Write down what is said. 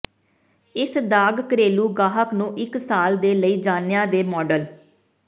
ਇਸ ਦਾਗ ਘਰੇਲੂ ਗਾਹਕ ਨੂੰ ਇੱਕ ਸਾਲ ਦੇ ਲਈ ਜਾਣਿਆ ਦੇ ਮਾਡਲ